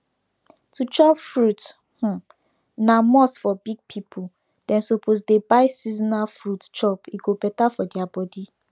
to chop furit um na must for big pipu dem suppose dey buy seasonal fruit chop e go better for deir body